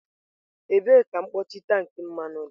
Ebee ka mkpuchi tank mmanụ dị?